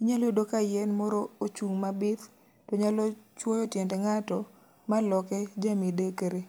inyalo yudo ka yien moro ochung' ma bith. To nyalo chwoyo tiend ng'ato ma loke ja midekre.